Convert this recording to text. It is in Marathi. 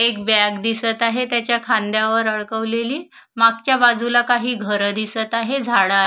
एक बॅग दिसत आहे त्याच्या खांद्यावर अडकवलेली मागच्या बाजूला काही घर दिसत आहे झाडा--